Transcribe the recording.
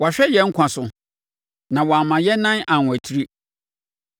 Wahwɛ yɛn nkwa so na wamma yɛn nan anwatiri.